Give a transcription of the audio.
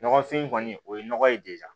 Ɲɔgɔnfin kɔni o ye nɔgɔ ye